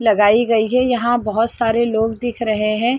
--लगाई गयी है यहाँ बहोत सारे लोग दिख रहे है।